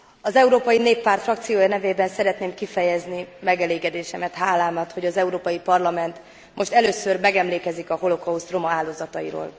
Az Európai Néppárt frakciója nevében szeretném kifejezni megelégedésemet, hálámat, hogy az Európai Parlament most először megemlékezik a holokauszt roma áldozatairól.